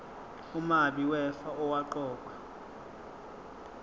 umabi wefa owaqokwa